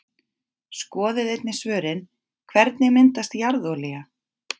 Skoðið einnig svörin: Hvernig myndast jarðolía?